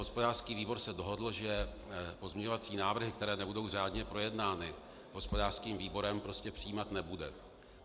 Hospodářský výbor se dohodl, že pozměňovací návrhy, které nebudou řádně projednány hospodářským výborem, prostě přijímat nebude.